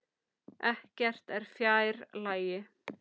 Ekkert er fjær lagi.